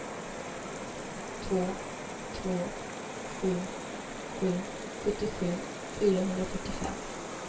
två två sju sju sjuttiosju fyrahundrafyrtiofem